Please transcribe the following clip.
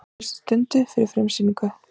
Á síðustu stundu fyrir frumsýningu